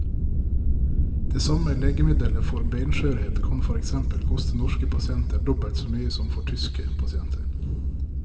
Det samme legemiddelet for benskjørhet kan for eksempel koste norske pasienter dobbelt så mye som for tyske pasienter.